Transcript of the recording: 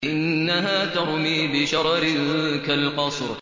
إِنَّهَا تَرْمِي بِشَرَرٍ كَالْقَصْرِ